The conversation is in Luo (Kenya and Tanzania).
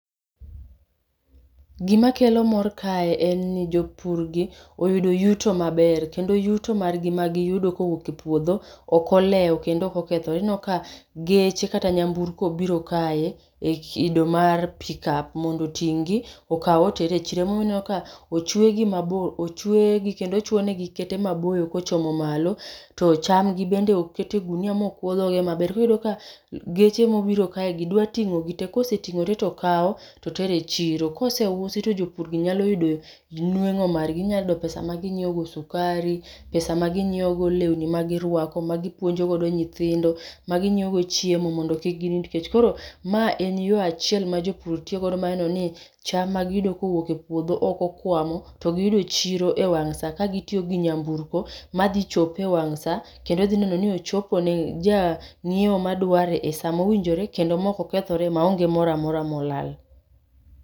Gima kelo mor kae en ni jopurgi oyudo yuto maber, kendo yuto margi ma giyudo kowuok e puodho, ok oleo, kendo ok okethore. Ineno ka geche kata nyamburko obiro kae e kido mar pick-up mondo oting'gi, okaw oter e chiro. Emomiyo ineno ka ochwe gi mabor, ochwegi, kendo ochwo negi kete maboyo kochomo malo, to chamgi bende okete ogunia ma okwo dhoge maber. Koro iyudo ka, geche mobiro kae gi, dwa tingó gi te. Kosetingó gi te, to kawo, to tere chiro. Koseusi to jopurgi nyalo yudo nwengó margi. Ginya yudo pesa ma ginyiewogo sukari, pesa ma ginyiewogo lewni ma girwako, magi puonjo godo nyithindo, maginyiewo godo chiemo mondo kik ginind kech. Koro, ma en yo achiel ma jopur tiyogo mar neno ni cham ma giyudo kowuok e puodho ok okwamo, to giyudo chiro e wang' sa, ka gitiyo gi nyamburko, ma dhi chope e wang' sa, kendo dhi nenoni ochopo ne janyiewo madware e sa mowinjore, kendo ma ok okethore, maonge moro amora molal.